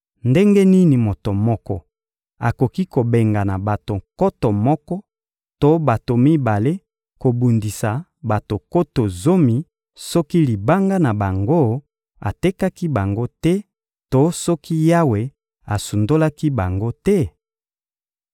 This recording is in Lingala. Ndenge nini moto moko akoki kobengana bato nkoto moko, to bato mibale, kobundisa bato nkoto zomi soki Libanga na bango atekaki bango te to soki Yawe asundolaki bango te?